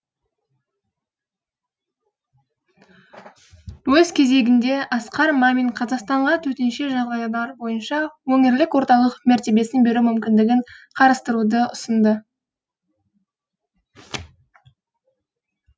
өз кезегінде асқар мамин қазақстанға төтенше жағдайлар бойынша өңірлік орталық мәртебесін беру мүмкіндігін қарастыруды ұсынды